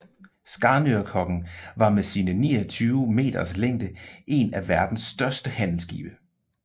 Skanørkoggen var med sine 29 meters længde en af verdens største handelsskibe